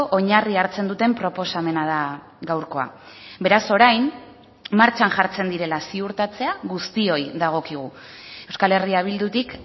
oinarri hartzen duten proposamena da gaurkoa beraz orain martxan jartzen direla ziurtatzea guztioi dagokigu euskal herria bildutik